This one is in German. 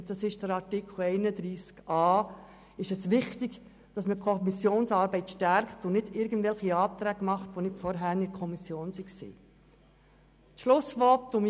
Ich bin überzeugt, dass es wichtig ist, die Kommissionsarbeit zu stärken und nicht irgendwelche Anträge einzureichen, die vorher nicht in der Kommission beraten worden sind.